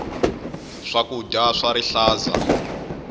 swakudya swa rihlaza